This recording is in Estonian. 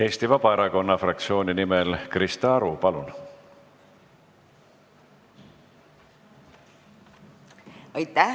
Eesti Vabaerakonna fraktsiooni nimel Krista Aru, palun!